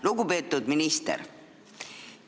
Lugupeetud minister!